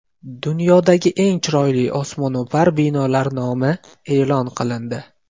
Dunyodagi eng chiroyli osmono‘par binolar nomi e’lon qilindi .